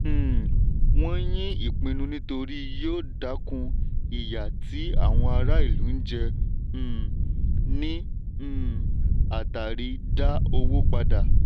um wọ́n yín ìpinnu nítorí yóò dákun ìyà tí àwọn ará ìlú jẹ um ní um àtàrí dá owó padà.